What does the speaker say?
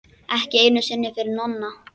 Ekki einu sinni fyrir Nonna.